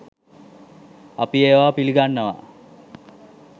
අපි ඒවා පිලිගන්නවා